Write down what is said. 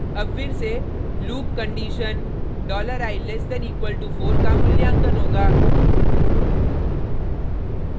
अब फिर से लूप कंडिशन $i<=4 का मूल्यांकन होगा